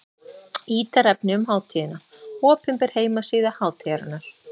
Ítarefni um hátíðina: Opinber heimasíða hátíðarinnar.